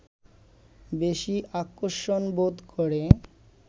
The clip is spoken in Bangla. বেশি আকর্ষণবোধ করে